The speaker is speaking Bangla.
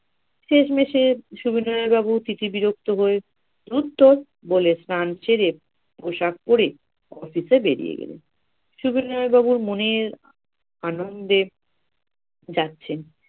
শেষমেসে সবিনয় বাবু তিথি বিরক্ত হয়ে ধুরত বলে স্নান সেরে, পোশাক পরে office এ বেরিয়ে গেলো। সবিনয় বাবু মনের আনন্দে যাচ্ছেন